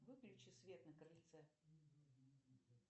выключи свет на крыльце